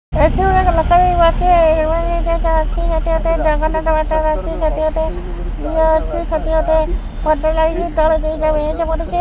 ସେଠି ଗୋଟେ ଜଗନ୍ନାଥ ମନ୍ଦିର ଅଛି ସେଠି ଗୋଟେ ଇଏ ଅଛି ସେଠି ଗୋଟେ ଘଣ୍ଟି ଲାଗିଛି ତଳେ ଦୁଇଟା ବେଞ୍ଚ ପଡ଼ିଛି।